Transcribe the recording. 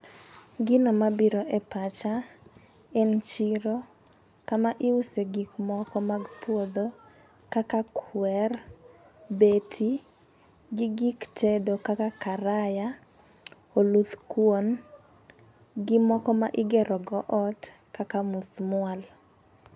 Gino mabiro e pacha en chiro kama iuse gik moko mag puodho kaka kwer, beti gi gik tedo kaka karaya , oluth kuon gi moko ma igero go ot kaka musmwal.